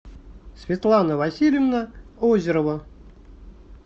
светлана васильевна озерова